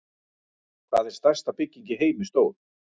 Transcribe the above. Hvað er stærsta bygging í heimi stór?